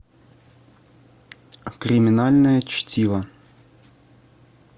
криминальное чтиво